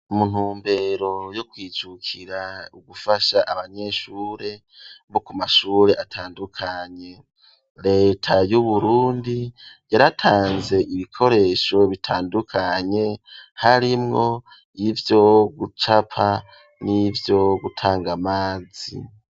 Mu ntumbero yo kwijukira ugufasha abanyeshure bo ku mashure atandukanye. Leta y'Uburundi yaratanze ibikoresho bitandukanye harimwo y'ivyo gucapa n'ivyo gutanga amazi.